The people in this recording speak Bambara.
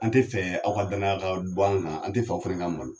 An tɛ fɛ aw ka danaya ka bɔ an kan an tɛ fɛ aw fana ka malo